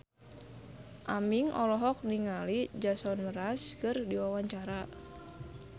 Aming olohok ningali Jason Mraz keur diwawancara